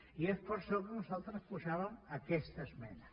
i és per això que nosaltres posàvem aquesta esmena